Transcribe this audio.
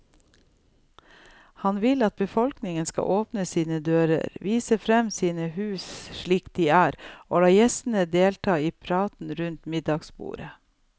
Han vil at befolkningen skal åpne sine dører, vise frem sine hus slik de er og la gjestene delta i praten rundt middagsbordet.